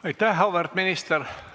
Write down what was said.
Aitäh, auväärt minister!